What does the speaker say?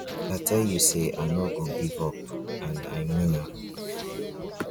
i tell you say i no go give up and i mean am